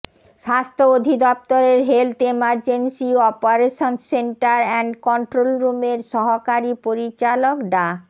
স্বাস্থ্য অধিদপ্তরের health emergency operations centre and control রুমের সহকারী পরিচালক ডা